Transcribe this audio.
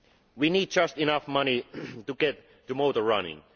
We need just enough money to get the motor running.